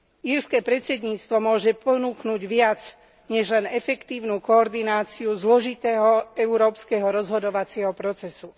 Írske predsedníctvo môže ponúknuť viac než len efektívnu koordináciu zložitého európskeho rozhodovacieho procesu.